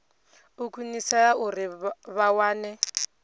u khwinisea uri vha wane